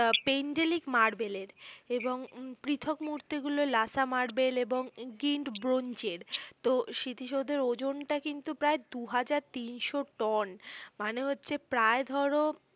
আহ Pentelic মার্বেলের এবং পৃথক মূর্তিগুলো লাসা মার্বেল এবং গিন্ড ব্রোঞ্চের তোহ স্মৃতিসৌধের ওজনটা কিন্তু প্রায় দুহাজার তিনশো টন মানে হচ্ছে প্রায় ধরো